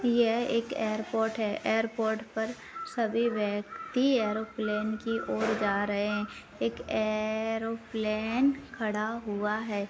यह एक एयरपोर्ट है एयरपोर्ट पर सभी व्यक्ति एरोप्लेन की और जा रहे हैं एक ए ए ए एरोप्लेन खड़ा हुआ है।